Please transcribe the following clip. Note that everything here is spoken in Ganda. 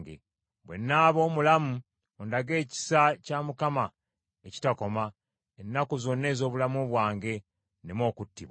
Bwe nnaaba omulamu, ondage ekisa kya Mukama ekitakoma, ennaku zonna ez’obulamu bwange, nneme okuttibwa,